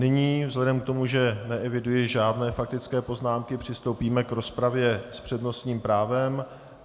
Nyní vzhledem k tomu, že neeviduji žádné faktické poznámky, přistoupíme k rozpravě s přednostním právem.